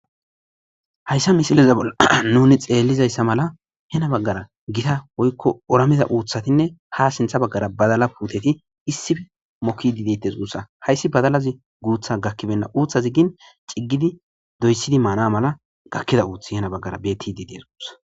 Hayssa misileza bolla nuni xeellizayssa mala hena baggara gita hoykko orameza uuthatinne ha sintha baggara badala puuteti issifi mokki didites uussa hayssi badalazi guutha gakkibenna uuthaziggin ciggidi doyssidi maana mala gakkida uuthi hena baggara beti didees uussa.